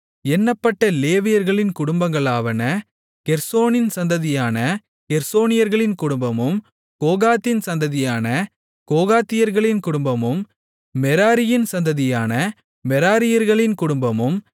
எண்ணப்பட்ட லேவியர்களின் குடும்பங்களாவன கெர்சோனின் சந்ததியான கெர்சோனியர்களின் குடும்பமும் கோகாத்தின் சந்ததியான கோகாத்தியர்களின் குடும்பமும் மெராரியின் சந்ததியான மெராரியர்களின் குடும்பமும்